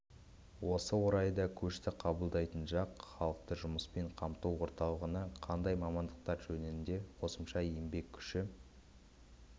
осы орайда көшті қабылдайтын жақ халықты жұмыспен қамту орталығына қандай мамандықтар жөнінде қосымша еңбек күші